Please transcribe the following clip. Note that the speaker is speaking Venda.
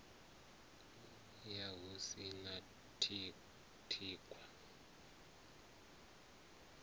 ya hu si na thikhwa